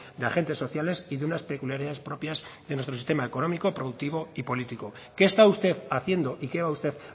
de agentes sociales y de unas peculiaridades propias de nuestro sistema económico productivo y político qué está usted haciendo y qué va usted